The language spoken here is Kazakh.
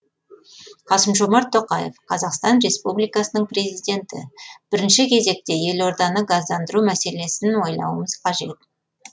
қасым жомарт тоқаев қазақстан республикасының президенті бірінші кезекте елорданы газдандыру мәселесін ойлауымыз қажет